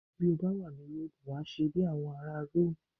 Bí ó bá wà ní Róòmù wàá ṣe bí àwọn ará Róòmù